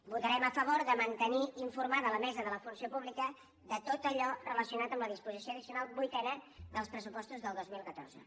votarem a favor de mantenir informada la mesa de la funció pública de tot allò relacionat amb la disposició addicional vuitena dels pressupostos del dos mil catorze